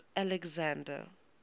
pope alexander